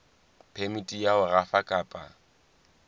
phemiti ya ho rafa kapa